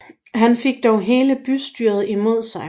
Han fik dog hele bystyret imod sig